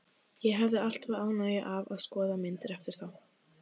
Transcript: Ég hefi alltaf ánægju af að skoða myndir eftir þá.